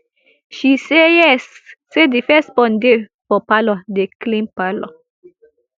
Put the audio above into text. she say yes say di first born dey for parlour dey clean parlour